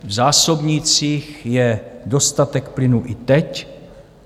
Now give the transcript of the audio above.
V zásobnících je dostatek plynu i teď.